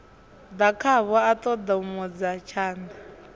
ḓa khavho a ṱoṱomodza tshanḓa